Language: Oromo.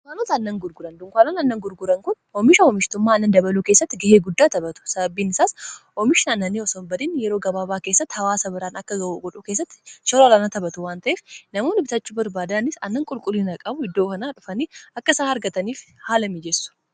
dukaanota annan gurguran dunkaanan annan gurguran kun oomisha hoomishtummaa annan dabaluu keessatti ga'ee guddaa tabhatu sababbiin isaas oomishna annannii osonbadiin yeroo gabaabaa keessatti hawaasa biraan akka ga'uu gudhuu keessatti shorolanaa taphatu wanta'eef namoon bitachu barbaadaanis annan qulqullinaa qabu iddoo kanaa dhufanii akka isaa argataniif haala miijessu